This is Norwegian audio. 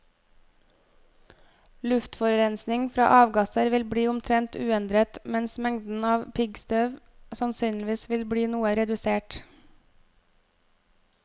Luftforurensning fra avgasser vil bli omtrent uendret, mens mengden av piggstøv sannsynligvis vil bli noe redusert.